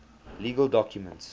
legal documents